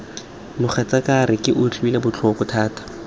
mogatsaaka re utlwile botlhoko thata